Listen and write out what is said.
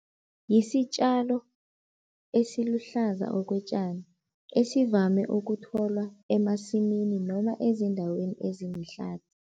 Yisitjalo esiluhlaza okwetjani, esivame ukutholwa emasimini noma ezindaweni ezilihlathi.